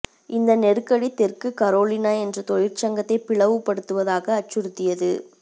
இந்த நெருக்கடி தெற்கு கரோலினா என்ற தொழிற்சங்கத்தை பிளவுபடுத்துவதாக அச்சுறுத்தியது